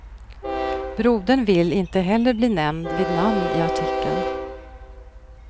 Brodern vill inte heller bli nämnd vid namn i artikeln.